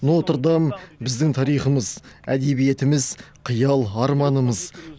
нотр дам біздің тарихымыз әдебиетіміз қиял арманымыз